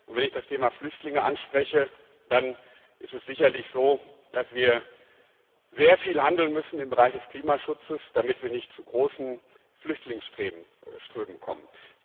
Wenn ich das Thema Flüchtlinge anspreche, dann ist es sicherlich so, dass wir sehr viel handeln müssen im Bereich des Klimaschutzes, damit wir nicht zu großen Flüchtlingsströmen kommen.